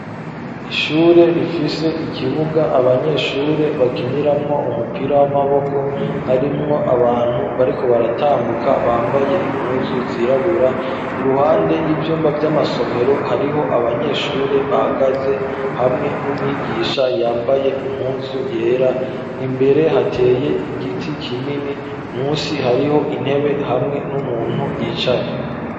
Ishure rifise ikibuga abanyeshure bakiniramwo umupira w'amaboko harimwo abantu bariko baratambuka bambaye impuzu zirabura iruhande y'ivyumba vy'amasomero hariho abanyeshure bahagaze hamwe n'umwigisha yambaye impuzu yera imbere hateye igiti kinini munsi hariho intebe hamwe n'umuntu yicaye.